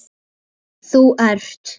Þú ert